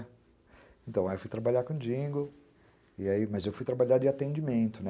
É. Então, aí eu fui trabalhar com jingle, mas eu fui trabalhar de atendimento, né?